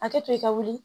Hakɛ to i ka wuli